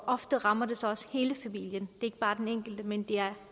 ofte rammer det så også hele familien det ikke bare den enkelte men